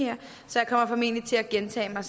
er